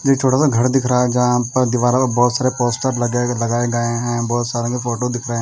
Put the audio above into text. ये छोटा सा घर दिख रहा है जहां पर दीवारों पर बहोत सारे पोस्टर लगे लगाए गए हैं बहोत सारे मे फोटो दिख रहें--